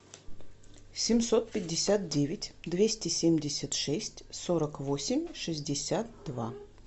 семьсот пятьдесят девять двести семьдесят шесть сорок восемь шестьдесят два